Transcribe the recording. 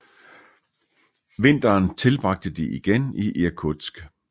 Vinteren tilbragte de igen i Irkutsk